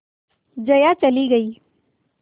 जया चली गई